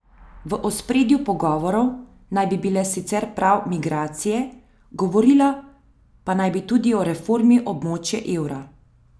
V ospredju pogovorov naj bi bile sicer prav migracije, govorila pa naj bi tudi o reformi območja evra.